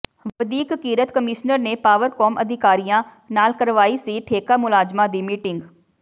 ਵਧੀਕ ਕਿਰਤ ਕਮਿਸ਼ਨਰ ਨੇ ਪਾਵਰਕੌਮ ਅਧਿਕਾਰੀਆਂ ਨਾਲ ਕਰਵਾਈ ਸੀ ਠੇਕਾ ਮੁਲਾਜ਼ਮਾਂ ਦੀ ਮੀਟਿੰਗ